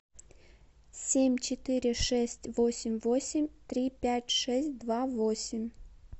семь четыре шесть восемь восемь три пять шесть два восемь